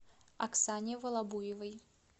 оксане волобуевой